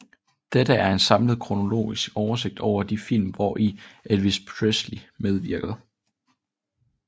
Dette er en samlet kronologisk oversigt over de film hvori Elvis Presley medvirkede